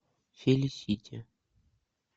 фелисити